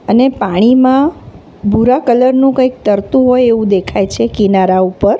અને પાણીમાં ભૂરા કલરનું કંઈક તરતું હોય એવું દેખાય છે કિનારા ઉપર.